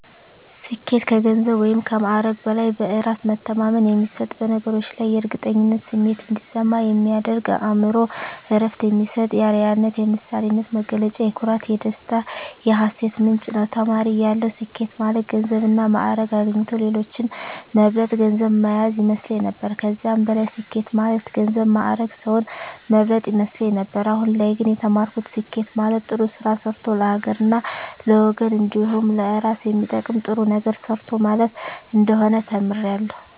ስኬት ከገንዘብ ወይም ከማዕረግ በላይ በእራስ መተማመን የሚሰጥ በነገሮች ላይ የእርግጠኝነት ስሜት እንዲሰማ የሚያደርግ ለአእምሮ እረፍት የሚሰጥ የአረያነት የምሳሌነት መገለጫ የኩራት የደስታ የሀሴት ምንጭ ነዉ። ተማሪ እያለሁ ስኬት ማለት ገንዘብና ማእረግ አግኝቶ ሌሎችን መብለጥ ገንዘብ ማያዝ ይመስለኝ ነበር ከዚህም በላይ ስኬት ማለት ገንዘብ ማእረግ ሰዉን መብለጥ ይመስለኝ ነበር አሁን ላይ ግን የተማርኩት ስኬት ማለት ጥሩ ስራ ሰርቶ ለሀገርና ለወገን እንዲሁም ለእራስ የሚጠቅም ጥሩ ነገር ሰርቶ ማለፍ እንደሆነ ተምሬያለሁ።